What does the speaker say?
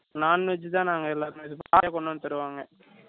Non veg தான் நாங்க எல்லாருமே கொண்டு வந்து தருவாங்க